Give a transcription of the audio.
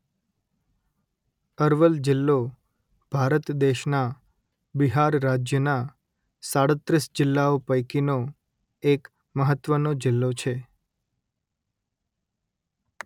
અરવલ જિલ્લો ભારત દેશના બિહાર રાજ્યના સાડત્રીસ જિલ્લાઓ પૈકીનો એક મહત્વનો જિલ્લો છે